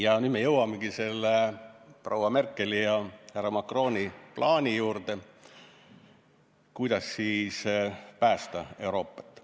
Ja nüüd me jõuamegi selle proua Merkeli ja härra Macroni plaani juurde, kuidas päästa Euroopat.